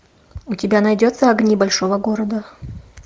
у тебя найдется огни большого города